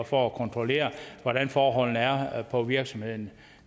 for at kontrollere hvordan forholdene er på virksomheden